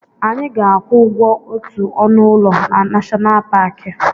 Anyị ga-akwụ ụgwọ otu ọnụ ụlọ na Nashọnal Paki.